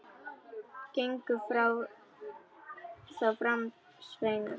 Gengu þá fram sveinar hans.